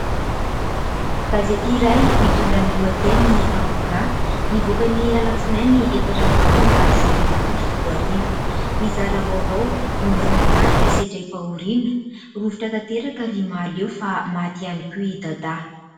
Gazety iray mitondra ny lohateny « Ao Raha », nivoaka ny Alatsinainy efatra novambra sivy amby roapolo sy roa arivo ; mizara vaovao momban'ny tarika sedraim-pahoriana :« Rovitra tanteraka ry Mahaleo fa maty ihany koa i Dadah ».